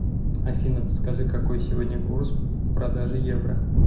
афина подскажи какой сегодня курс продажи евро